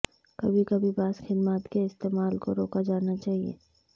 کبھی کبھی بعض خدمات کے استعمال کو روکا جانا چاہئے